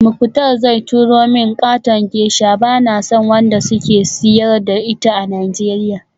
Muktar zai turo min katon geisha, bana son wanda suke siyar da ita a Nigeria